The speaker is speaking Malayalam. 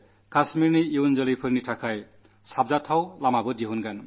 കശ്മീരിലെ പൌരന്മാരുടെ സുരക്ഷിതത്വം ഭരണകൂടത്തിന്റെ ഉത്തരവാദിത്വമാണ്